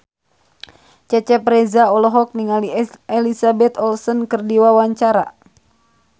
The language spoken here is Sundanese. Cecep Reza olohok ningali Elizabeth Olsen keur diwawancara